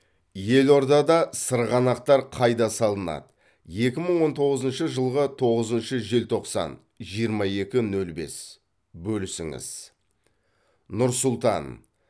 елордада сырғанақтар қайда салынады екі мың он тоғызыншы жылғы тоғызыншы желтоқсан жиырма екі нөл бес бөлісіңіз нұр сұлтан